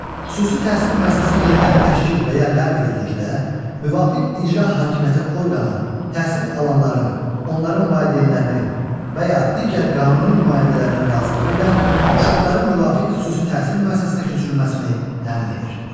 Xüsusi təhsil müəssisəsi yenidən təşkil və ya ləğv edildikdə, müvafiq icra hakimiyyəti orqanı təhsil alanların, onların valideynlərinin və ya digər qanuni nümayəndələrinin razılığı ilə uşaqların müvafiq xüsusi təhsil müəssisəsinə köçürülməsini təmin edir.